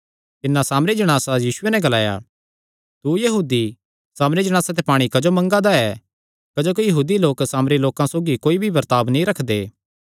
तिन्नै सामरी जणासा यीशुये नैं ग्लाया तू यहूदी सामरी जणासा ते पाणी क्जो मंगा दा ऐ क्जोकि यहूदी लोक सामरी लोकां सौगी कोई भी बर्ताब नीं रखदे